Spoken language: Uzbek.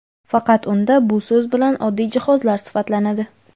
faqat unda bu so‘z bilan oddiy jihozlar sifatlanadi.